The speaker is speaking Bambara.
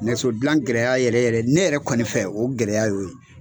Nɛso dilan gɛrɛya yɛrɛ yɛrɛ ne yɛrɛ kɔni fɛ o gɛlɛya y'o ye.